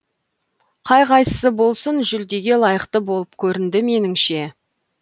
қай қайсысы болсын жүлдеге лайықты болып көрінді меніңше